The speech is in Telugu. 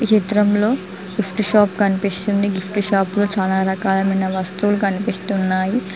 చిత్రంలో గిఫ్ట్ షాప్ కనిపిస్తుంది గిఫ్ట్ షాప్ లో చాలా రకాలైన వస్తువులు కనిపిస్తున్నాయి.